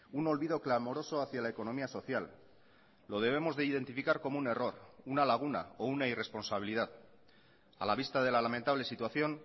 un olvido clamoroso hacia la economía social lo debemos de identificar como un error una laguna o una irresponsabilidad a la vista de la lamentable situación